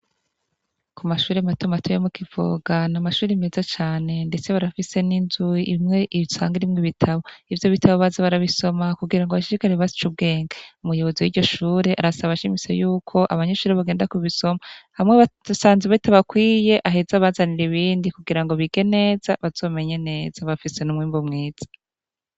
Kumashure matomato yo mukivoga namashure meza cane ndetse barafise ninzu imwe usanga irimwo ibitabo ivyo bitabo baza barabisoma kugira ngo bashishikare bacubwenge umuyobozi wiryo shure arasaba ashimitse yuko abanyeshure bogenda kubisoma hamwe basanze bitabakwiye aheze abazanire ibindi kugirango bige neza bazomenye neza bafise numwimbu mwiza